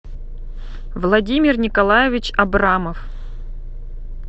владимир николаевич абрамов